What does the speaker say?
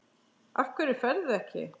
Af hverju ferðu ekki?